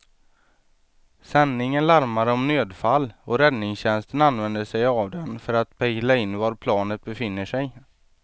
Sändningen larmar om nödfall och räddningstjänsten använder sig av den för att pejla in var planet befinner sig.